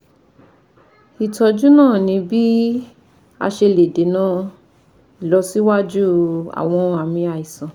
Ìtọ́jú náà ní bí a ṣe lè dènà ìlọsíwájú àwọn àmì àìsàn